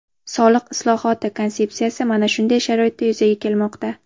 Soliq islohoti konsepsiyasi mana shunday sharoitda yuzaga kelmoqda.